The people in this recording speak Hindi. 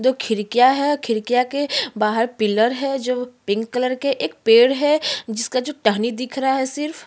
दो खिड़कियां है खिड़कियां के बाहर पिलर है जो पिंक के एक पेड़ है जिसका जो टहनी दिख रहा है सिर्फ।